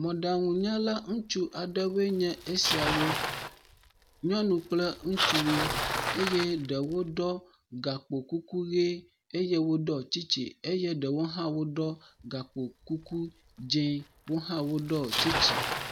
Mɔɖaŋunyala ŋutsu aɖewoe nye esiawo. Nyɔnu kple ŋùtsuwoe eye ɖewo ɖɔ gakpokuku ʋe eye woɖɔ tsitsi eye ɖewo hã woɖɔ gakpokuku dze. Wo hã woɖɔ tsitsi.